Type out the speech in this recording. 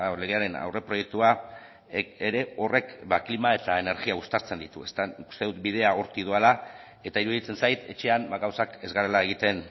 legearen aurreproiektua ere horrek klima eta energia uztartzen ditu nik uste dut bidea hortik doala eta iruditzen zait etxean gauzak ez garela egiten